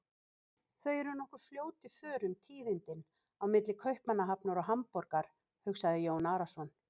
Þau eru nokkuð fljót í förum tíðindin á milli Kaupmannahafnar og Hamborgar, hugsaði Jón Arason.